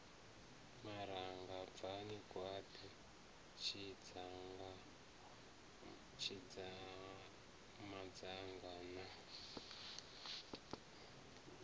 maranga bvani gwaḓi tshidzamanga na